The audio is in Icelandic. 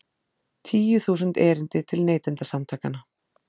Tíu þúsund erindi til Neytendasamtakanna